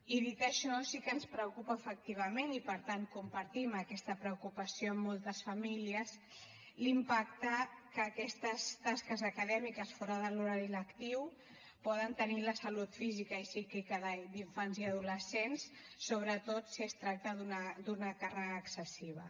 i dit això sí que ens preocupa efectivament i per tant compartim aquesta preocupació amb moltes famílies l’impacte que aquestes tasques acadèmiques fora de l’horari lectiu poden tenir en la salut física i psíquica d’infants i adolescents sobretot si es tracta d’una càrrega excessiva